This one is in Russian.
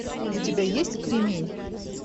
у тебя есть кремень